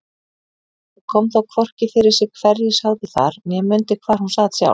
Hún kom þó hvorki fyrir sig hverjir sátu þar né mundi hvar hún sat sjálf.